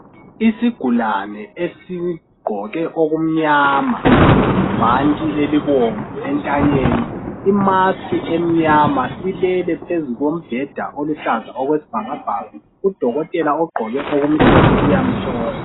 Isigulane esigqoke okumnyama, ibhanti elibomvu entanyeni imask emnyama silele phezu kombheda oluhlaza okwesibhakabhaka. Udokotela ogqqoke okumhlophe uyamhlola.